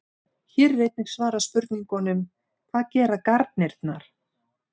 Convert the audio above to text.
Hér er einnig svarað spurningunum: Hvað gera garnirnar?